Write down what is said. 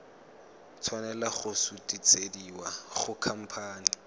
tshwanela go sutisediwa go khamphane